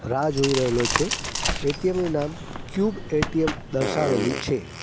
રાહ જોઈ રહેલો છે એ_ટી_એમ નું નામ ક્યુબ એ_ટી_એમ દર્શાવેલું છે.